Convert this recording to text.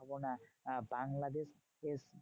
ভাবনা বাংলাদেশ